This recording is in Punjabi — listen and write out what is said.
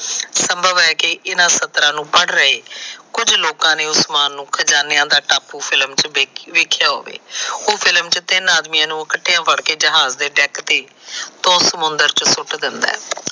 ਸੰਭਵ ਹੈ ਕਿ ਇਹਨਾ ਸਤਰਾਂ ਨੂੰ ਪੜ ਰਹੇ। ਕੁਝ ਲੋਕਾਂ ਨੇ ਉਸਮਾਨ ਨੂੰ ਖਜ਼ਾਨਿਆਂ ਦਾ ਟਾਪੂ ਫਿਲਮ ਚ ਦੇਖਿਆਂ ਹੋਵੇ। ਉਹ ਫਿਲਮ ਚ ਤਿੰਨ ਆਦਮੀਆਂ ਨੂੰ ਇਕੱਠੇ ਫੜ ਕੇ ਜ਼ਹਾਜ ਦੇ ਟੈਂਕ ਤੇ ਸਮੁੰਦਰ ਚ ਸੁੱਟ ਦਿੰਦਾ ਹੈ।